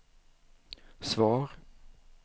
svar